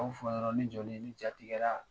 A y'o fɔ dɔrɔn ne jɔlen ne jatigɛra